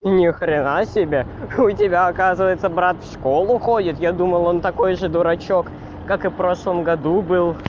ни хрена себе у тебя оказывается брат в школу ходит я думал он такой же дурачок как и в прошлом году был